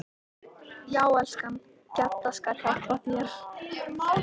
Já, elskan, Gedda skal hjálpa þér